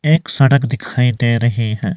एक सड़क दिखाई दे रही है।